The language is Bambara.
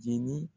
Jeli